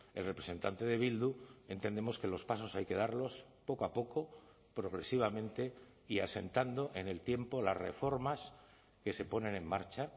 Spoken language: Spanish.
el representante de bildu entendemos que los pasos hay que darlos poco a poco progresivamente y asentando en el tiempo las reformas que se ponen en marcha